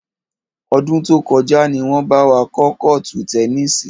Ọdún tó kọjá ni wọn bá wa kọ́ kọ́ọ́tù tẹnísì.